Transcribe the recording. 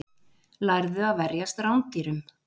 Lærðu að verjast rándýrum